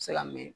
Se ka mɛn